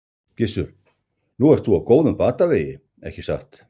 Gissur: Nú ert þú á góðum batavegi ekki satt?